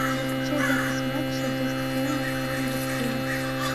закачай запись матча вест хэма и ливерпуля